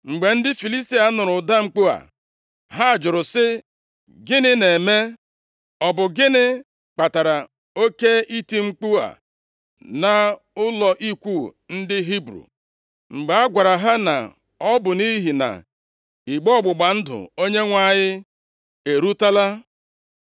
Mgbe ndị Filistia nụrụ ụda mkpu a, ha jụrụ sị, “Gịnị na-eme? Ọ bụ gịnị kpatara oke iti mkpu a nʼụlọ ikwu ndị Hibru?” Mgbe a gwara ha na ọ bụ nʼihi na igbe ọgbụgba ndụ Onyenwe anyị erutela,